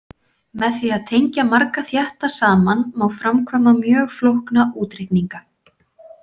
Með því að tengja marga þétta saman má framkvæma mjög flókna útreikninga.